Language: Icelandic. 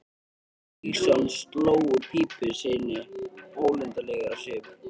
Otti Stígsson sló úr pípu sinni ólundarlegur á svip.